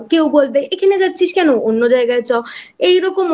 কেউ বলবে এখানে যাচ্ছিস কেন অন্য জায়গায় চ এইরকম অনেক